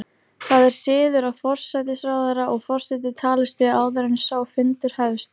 Það er siður að forsætisráðherra og forseti talist við áður en sá fundur hefst.